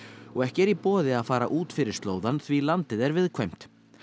og ekki er í boði að fara út fyrir slóðann því landið er viðkvæmt